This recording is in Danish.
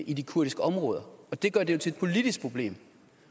i de kurdiske områder og det gør det jo til et politisk problem